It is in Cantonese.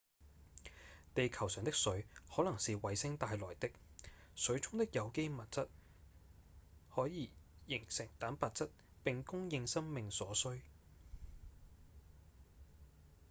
地球上的水可能是彗星帶來的水中的有機物質則可以形成蛋白質並供應生命所需